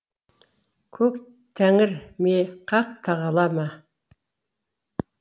көк тәңір ме хақ тағала ма